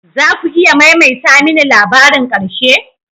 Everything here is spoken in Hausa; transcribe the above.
Za ku iya maimaita mini labarin ƙarshe?